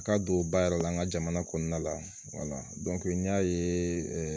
A ka don ba yɛrɛ la an ka jamana kɔnɔna la n y'a ye